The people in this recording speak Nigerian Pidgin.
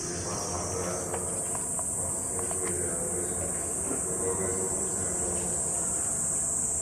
di imam advice um us say prayer and patience go always um help us um